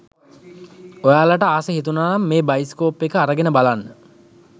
ඔයාලට ආස හිතුණනම් මේ බයිස්කෝප් එක අරගෙන බලන්න